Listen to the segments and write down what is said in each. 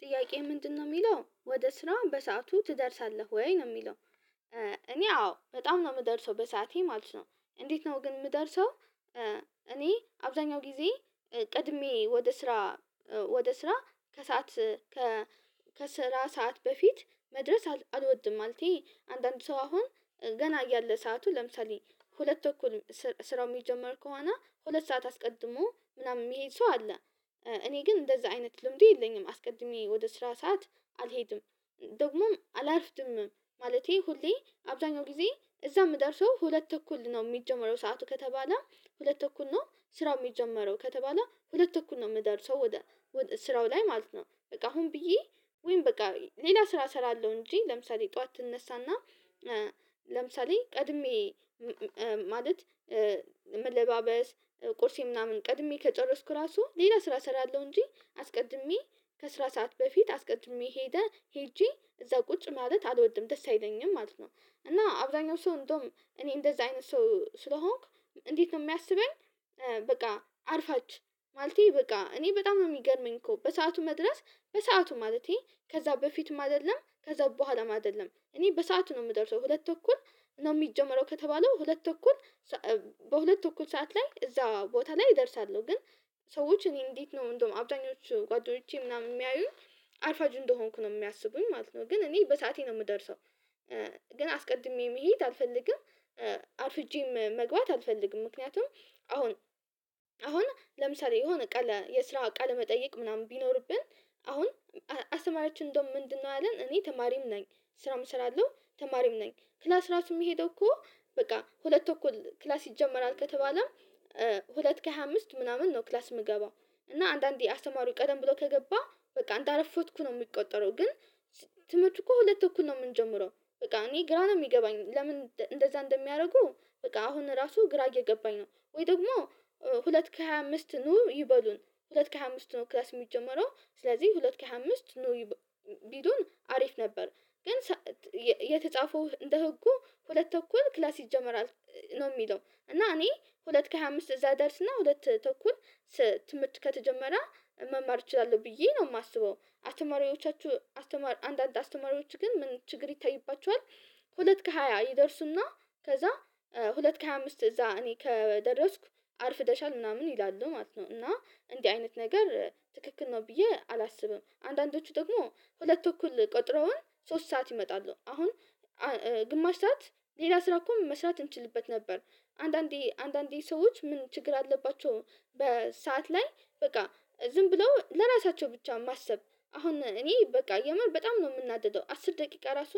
ጥያቄ ምንድነው የሚለው ወደ ስራ በሰአቱ ትደርሳለህ ወይ ነው የሚለው? እኔ አዎ በጣም ነው የምደርሰው በሰአቴ ማለት ነው። እንዴት ነው ግን የምደርሰው? እኔ አብዛኛው ጊዜ ቀድሜ ወደ ስራ ከሰአት ከስራ ሰዓት በፊት መድረስ አልወድም ማለቴ አንዳንድ ሰው አሁን ገና ያለ ሰዓቱ ለምሳሌ ሁለት እኩል ስራው የሚጀመር ከሆነ ሁለት ሰዓት አስቀድሞ ምናምን የሚሄድ ሰው አለ እኔ ግን እንደዛ አይነት ልምድ የለኝም አስቀድሜ ወደ ስራ ሰዓት አልሄድም። ደግሞም አላርፍድምም ማለቴ ሁሌ አብዛኛው ጊዜ እዛ የምደርሰው ሁለት ተኩል ነው የሚጀመረው ሰዓቱ ከተባለ ሁለት ተኩል ነው ስራው የሚጀመረው ከተባለ ሁለት ተኩል ነው የምደርሰው ወደ ስራው ላይ ማለት ነው። በቃ አሁን ብዬ ወይም በቃ ሌላ ስራ እሰራለሁ እንጂ ለምሳሌ ጠዋት ትነሳና ለምሳሌ ቀድሜ ማለት መለባበስ ቁርሴ ምናምን ቀድሜ ከጨረስኩ ራሱ ሌላ ስራ ሰራለሁ እንጂ አስቀድሜ ከስራ ሰዓት በፊት አስቀድሜ ሄደ ሄጄ እዛ ቁጭ ማለት አልወድም ደስ አይለኝም ማለት ነው። እና አብዛኛው ሰው እንደውም እኔ እንደዛ አይነት ሰው ስለሆንክ እንዴት ነው የሚያስበኝ? በቃ አርፋጅ ማለቴ በቃ እኔ በጣም ነው የሚገርመኝ እኮ በሰአቱ መድረስ በሰአቱ ማለቴ ከዛ በፊትም አይደለም ከዛ በኋላም አይደለም እኔ በሰአቱ ነው የምደርሰው ሁለት ተኩል ነው የሚጀመረው ከተባለው ሁለት ተኩል በሁለት ተኩል ሰዓት ላይ እዛ ቦታ ላይ እደርሳለሁ። ግን ሰዎች እኔን እንዴት ነው እንደውም አብዛኞቹ ጓደኞቼ ምናምን የሚያዩኝ አርፋጅ እንደሆንኩ ነው የሚያስቡኝ ማለት ነው ግን እኔ በሰአቴ ነው የምደርሰው። ግን አስቀድሜ መሄድ አልፈልግም አርፍጄም መግባት አልፈልግም። ምክንያቱም አሁን አሁን ለምሳሌ የሆነ ቃለ የስራ ቃለ መጠየቅ ምናምን ቢኖርብን አሁን አስተማሪያችን እንደውም ምንድነው ያለን እኔ ተማሪም ነኝ። ስራውም እሰራለሁ ተማሪም ነኝ ክላስ ራሱ የሚሄደው እኮ በቃ ሁለት ተኩል ክላስ ይጀመራል ከተባለም ሁለት ከሃያ አምስት ምናምን ነው ክላስ የምገባው እና አንዳንዴ አስተማሪው ቀደም ብሎ ከገባ በቃ እንዳረፈድኩ ነው የሚቆጠረው ግን ትምህርቱ እኮ ሁለት ተኩል ነው የምንጀምረው። በቃ እኔ ግራ ነው የሚገባኝ ለምን እንደዛ እንደሚያደርጉ በቃ አሁን ራሱ ግራ እየገባኝ ነው ወይ ደግሞ ሁለት ከሃያ አምስት ኑ ይበሉን ሁለት ከሃያ አምስት ኑ ክላስ የሚጀመረው ስለዚህ ሁለት ከሃምስት ኑ ቢሉን አሪፍ ነበር። ግን የተጻፈው እንደ ህጉ ሁለት ተኩል ክላስ ይጀመራል ነው የሚለው እና እኔ ሁለት ከሃያ አምስት እዛ ደርስና ሁለት ተኩል ትምህርት ከተጀመረ መማር እችላለሁ ብዬ ነው የማስበው። አስተማሪዎቻችሁ አንዳንድ አስተማሪዎች ግን ምን ችግር ይታይባችኋል? ሁለት ከሃያ ይደርሱና ከዛ ሁለት ከሃያ አምስት እዛ እኔ ከደረስኩ አርፍደሻል ምናምን ይላሉ ማለት ነው። እና እንዲህ አይነት ነገር ትክክል ነው ብዬ አላስብም አንዳንዶቹ ደግሞ ሁለት ተኩል ቀጥረውን ሶስት ሰዓት ይመጣሉ አሁን ግማሽ ሰዓት ሌላ ስራ እኮ መስራት እንችልበት ነበር አንዳንዴ አንዳንዴ ሰዎች ምን ችግር አለባቸው በሰአት ላይ በቃ ዝም ብለው ለራሳቸው ብቻ ማሰብ አሁን እኔ በቃ የምር በጣም ነው የምናደደው አስር ደቂቃ ራሱ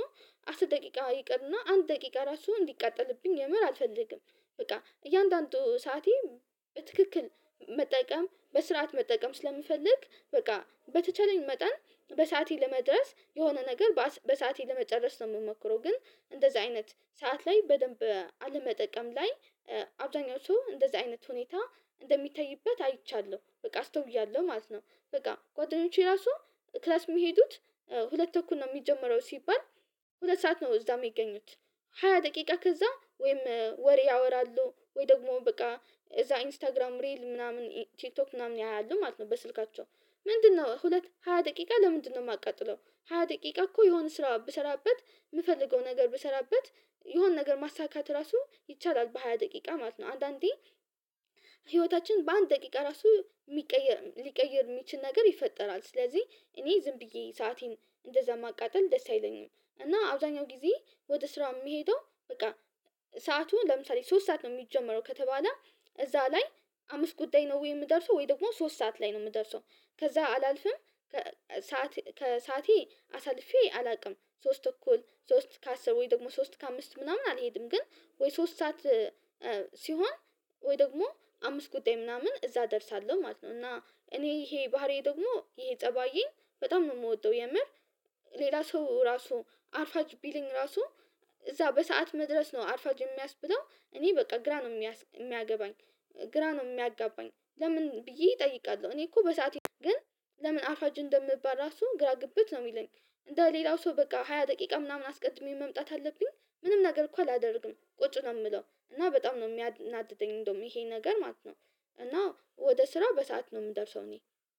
አስር ደቂቃ ይቅርና አንድ ደቂቃ ራሱ እንዲቃጠልብኝ የምር አልፈልግም። በቃ እያንዳንዱ ሰዓቴ በትክክል መጠቀም በስርዓት መጠቀም ስለምፈልግ በቃ በተቻለኝ መጠን በሰአቴ ለመድረስ የሆነ ነገር በሰአቴ ለመጨረስ ነው የምመክረው ግን እንደዚህ አይነት ሰዓት ላይ በደንብ አለመጠቀም ላይ አብዛኛው ሰው እንደዚህ አይነት ሁኔታ እንደሚታይበት አይቻለው በቃ አስተውያለሁ ማለት ነው። በቃ ጓደኞቼ ራሱ ክላስ የሚሄዱት ሁለት ተኩል ነው የሚጀምረው ሲባል ሁለት ሰዓት ነው እዛ የሚገኙት ሃያ ደቂቃ ከዛ ወይም ወሬ ያወራሉ ወይ ደግሞ በቃ እዛ ኢንስታግራም ሪል ምናምን ቲክቶክ ምናምን ያያሉ ማለት ነው። በስልካቸው ምንድነው ሁለት ሃያ ደቂቃ ለምንድነው የማቃጥለው ሃያ ደቂቃ እኮ የሆነ ስራ ብሰራበት የምፈልገው ነገር ብሰራበት የሆነ ነገር ማሳካት ራሱ ይቻላል። በሃያ ደቂቃ ማለት ነው አንዳንዴ ህይወታችን በአንድ ደቂቃ ራሱ የሚቀየር ሊቀይር የሚችል ነገር ይፈጠራል ስለዚህ እኔ ዝም ብዬ ሰአቴን እንደዛ ማቃጠል ደስ አይለኝም። እና አብዛኛው ጊዜ ወደ ስራ የምሄደው በቃ ሰዓቱ ለምሳሌ ሶስት ሰዓት ነው የሚጀመረው ከተባለ እዛ ላይ አምስት ጉዳይ ነው ወይ የምደርሰው ወይ ደግሞ ሶስት ሰዓት ላይ ነው የምደርሰው። ከዛ አላልፍም ሰዓት ከሰዓቴ አሳልፌ አላቅም ሶስት ተኩል ሶስት ከአስር ወይ ደግሞ ሶስት ከአምስት ምናምን አልሄድም ግን ወይ ሶስት ሰዓት ሲሆን ወይ ደግሞ አምስት ጉዳይ ምናምን እዛ እደርሳለሁ ማለት ነው። እና እኔ ይሄ ባህሪዬ ደግሞ ይሄ ጸባዬኝ በጣም ነው የምወጣው የምር ሌላ ሰው ራሱ አርፋጅ ቢለኝ ራሱ እዛ በሰአት መድረስ ነው አርፋጅ የሚያስብለው እኔ በቃ ግራ ነው የሚያገባኝ። ግራ ነው የሚያጋባኝ ለምን ብዬ እጠይቃለሁ እኔ እኮ በሰአቴ ግን ለምን አርፋጅ እንደምባል ራሱ ግራ ግብት ነው የሚለኝ። እንደ ሌላው ሰው በቃ ሃያ ደቂቃ ምናምን አስቀድሜ መምጣት አለብኝ ምንም ነገር እኮ አላደርግም ቁጭ ነው የምለው እና በጣም ነው የሚያናድደኝ እንደውም ይሄ ነገር ማለት ነው። እና ወደ ስራው በሰአት ነው የምደርሰው እኔ